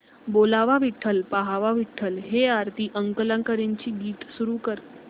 बोलावा विठ्ठल पहावा विठ्ठल हे आरती अंकलीकरांचे गीत सुरू कर